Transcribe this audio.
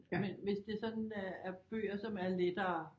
Men hvis det sådan er bøger som er lettere